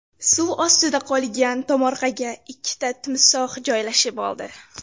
Suv ostida qolgan tomorqaga ikkita timsoh joylashib oldi .